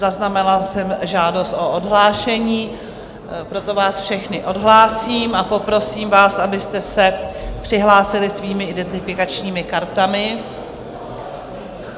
Zaznamenala jsem žádost o odhlášení, proto vás všechny odhlásím a poprosím vás, abyste se přihlásili svými identifikačními kartami.